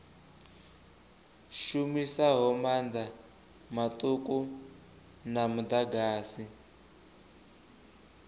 shumisaho maanḓa maṱuku a muḓagasi